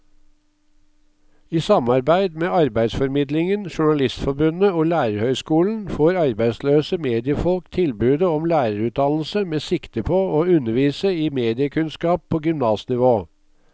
I samarbeid med arbeidsformidlingen, journalistforbundet og lærerhøyskolen får arbeidsløse mediefolk tilbudet om lærerutdannelse med sikte på å undervise i mediekunnskap på gymnasnivå.